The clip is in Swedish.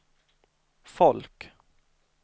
folk